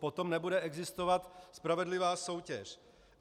Potom nebude existovat spravedlivá soutěž.